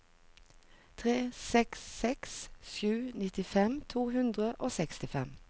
tre seks seks sju nittifem to hundre og sekstifem